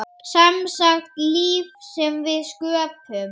Semsagt líf sem við sköpum.